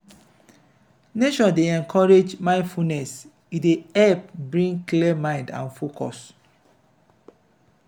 nature dey encourage mindfulness e dey help bring clear mind and focus.